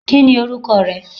Kíni orúkọ rẹ?